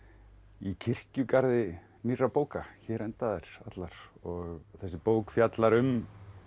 í kirkjugarði nýrra bóka hér enda þær allar og þessi bók fjallar um